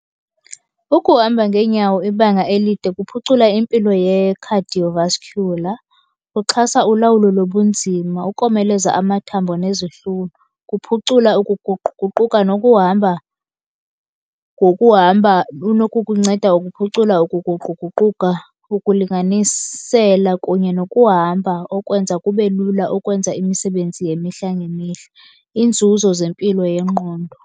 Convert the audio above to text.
Ukuhamba ngeenyawo ibanga elide kuphucula impilo ye-cardiovascular, kuxhasa ulawulo lobunzima, ukomeleza amathambo nezihlunu. Kuphucula ukuguquguquka nokuhamba, ngokuhamba unokukunceda ukuphucula ukuguquguquka ukulinganisela kunye nokuhamba okwenza kube lula ukwenza imisebenzi yemihla ngemihla. Iinzuzo zempilo yengqondo.